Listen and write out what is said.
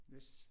Yes